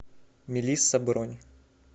мелисса бронь